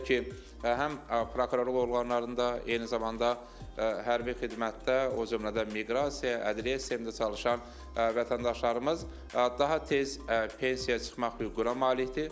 Belə ki, həm prokurorluq orqanlarında, eyni zamanda hərbi xidmətdə, o cümlədən miqrasiya, ədliyyə sistemində çalışan vətəndaşlarımız daha tez pensiya çıxmaq hüququna malikdir.